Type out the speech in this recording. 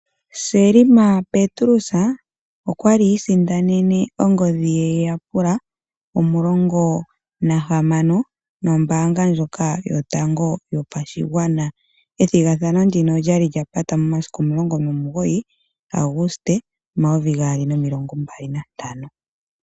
Selma Petrus okwali isindanene ongodhi ye yapela omulongo nahamano noombaanga ndjoka yotango yopashigwana. Ethigathano ndino olyali lya pata momasiku omulongo nomugoyi ga Aguste omayovi gaali nomilongo mbali nantano.